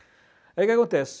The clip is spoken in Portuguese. Aí o que que acontece?